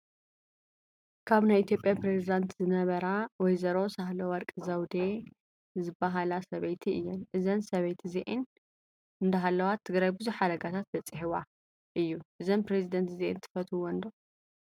ካብ ናይ ኢትዮጰያ ፕረዝዳት ዝነበራ ወዘሮ ሳህለወር ዘውዴ ዝበሃላ ሰባይቲ እየን። እዘን ሰበይቲ እዚኣን እንዳሃለዋ ትግራይ ብዙሕ ሓደጋታት በፂሑዋ እዩ። እዘን ፕረዚዳንት እዚኣን ትፈትውዎን ዶ?